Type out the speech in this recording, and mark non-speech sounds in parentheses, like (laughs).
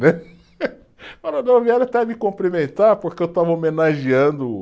(laughs) (unintelligible) vieram até me cumprimentar porque eu estava homenageando.